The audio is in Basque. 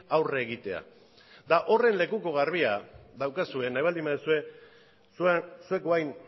aurre egitea eta horren lekuko garbia daukazue nahi baldin baduzue zuek orain